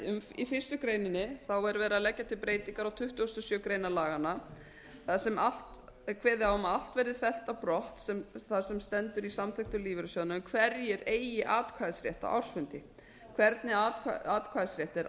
í fyrstu grein er verið að leggja til breytingar á tuttugustu og sjöundu grein laganna þar sem kveðið er á um að allt verði fellt brott þar sem stendur í samþykktum lífeyrissjóðanna um hverjir eigi atkvæðisrétt á ársfundi hvernig atkvæðisréttur er